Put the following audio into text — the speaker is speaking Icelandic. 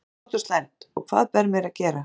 Hvað er gott og slæmt? og Hvað ber mér að gera?